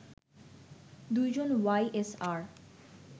২ জন Y SR